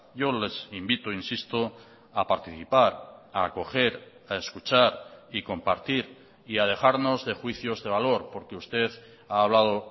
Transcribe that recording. yo les invito insisto a participar a acoger a escuchar y compartir y a dejarnos de juicios de valor porque usted ha hablado